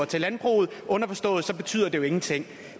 til landbruget underforstået at så betyder det jo ingenting